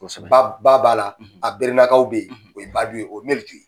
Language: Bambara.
Kosɛbɛ. Ba b'a la a berenakaw be yen o ye babi ye , o ye melitu ye .